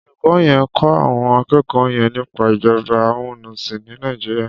Olúkò yèn n kò áwòn ákèékò yèn nipá ijòbá àmúnisín ni Nàijiriá